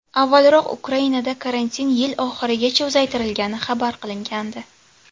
Avvalroq Ukrainada karantin yil oxirigacha uzaytirilgani xabar qilingandi .